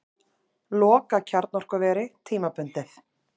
Loka kjarnorkuveri tímabundið